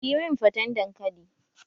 Kiyi min faten dankali!